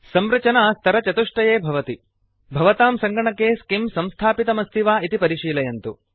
संरचना स्तरचतुष्टये भवति भवतां सङ्गणके स्किम् स्किम् संस्थापितमस्ति वा इति परिशीलयन्तु